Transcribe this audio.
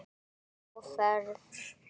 Sjá áferð.